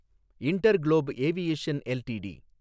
InterGlobe Aviation LTD